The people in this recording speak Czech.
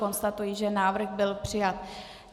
Konstatuji, že návrh byl přijat.